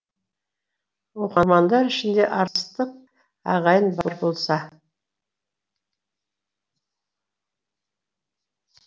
оқырмандар ішінде арыстық ағайын бар болса